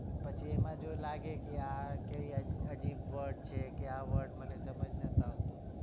એમાં જો લાગે કે આ કઈ અજીબ word છે કે આ word મને સમજ નથી આવતો